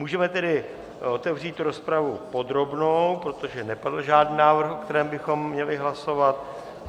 Můžeme tedy otevřít rozpravu podrobnou, protože nepadl žádný návrh, o kterém bychom měli hlasovat.